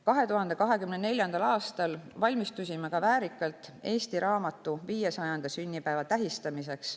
2024. aastal valmistusime väärikalt eesti raamatu 500. sünnipäeva tähistamiseks.